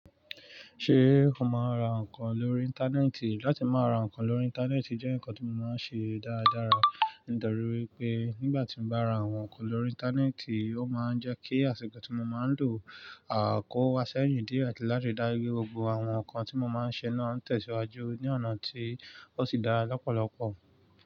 Ṣé o máa ń ra nǹkan lórí Íńtánẹ́ẹ̀tì? Látí máa ra nǹkan lórí Íńtánẹ́ẹ̀tì jẹ́ ǹkan tí mo máa ń ṣe dáradára. Nítorí pé, nígbàtí mo bá ra àwọn nǹkan lórí Íńtánẹ́ẹ̀tì, ó máa ń jẹ́ kí àsìkò tí mo máa ń lò kówasẹ́yìn díẹ̀ àti láti dá lé gbogbo àwọn nǹkan tí mo máa ń ṣe náà tẹ̀síwájú ní ọ̀nà tí ó sì dára lọ́pọ̀lọpọ̀.